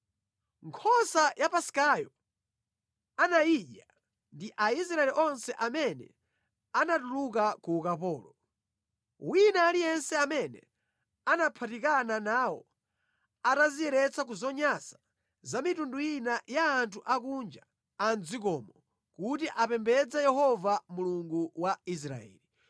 Nkhosa ya Paskayo anayidya ndi Aisraeli onse amene anatuluka ku ukapolo, wina aliyense amene anaphatikana nawo atadziyeretsa ku zonyansa za mitundu ina ya anthu akunja a mʼdzikomo kuti apembedze Yehova Mulungu wa Israeli.